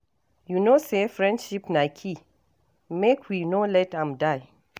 You know say friendship na key, make we no let am die.